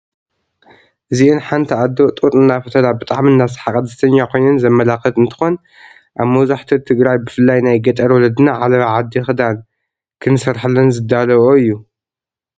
እዚአን ሐንቲ አዶ ጡጥ እናፈተላ ብጣዕሚ እናሰሐቃ ደስተኛ ኮይነን ዘመላኽት እንትኾን አብ መብዘሐትኡ ትግራይ ብፍላይ ናይ ገጠር ወለድና ዓለባ ዓዲ ክደን ንክሰርሐለን ዝዳልውኦ እዩ።